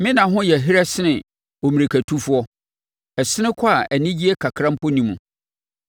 “Me nna ho yɛ herɛ sene ommirikatufoɔ; ɛsene kɔ a anigyeɛ kakra mpo nni mu.